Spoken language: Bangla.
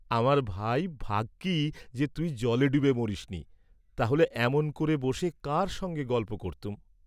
আমার ভাই ভাগ্যি যে তুই জলে ডুবে মরিসনি, তা হলে এমন করে বসে কার সঙ্গে গল্প করতুম?